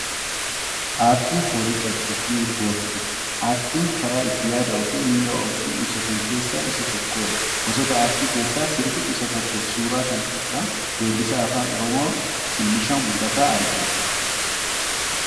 Aartiin foolii qabdi. Ni urgoofti. Aartiin karaa itti yaadaa fi miira ofii ibsatan keessaa isa tokkodha. Gosoota aartii keessaa sirbi isa tokko. Suuraa kana irraa weellisaa afaan Oromoo Sinishaw Mul'ataa argina.